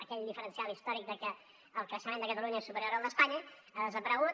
aquell diferencial històric que el creixement de catalunya és superior al d’espanya ha desaparegut